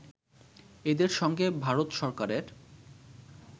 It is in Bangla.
এদের সঙ্গে ভারত সরকারের